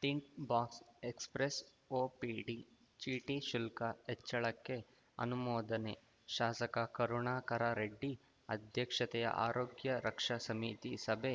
tint box express OPD ಚೀಟಿ ಶುಲ್ಕ ಹೆಚ್ಚಳಕ್ಕೆ ಅನುಮೋದನೆ ಶಾಸಕ ಕರುಣಾಕರರೆಡ್ಡಿ ಅಧ್ಯಕ್ಷತೆಯ ಆರೋಗ್ಯ ರಕ್ಷಾ ಸಮಿತಿ ಸಭೆ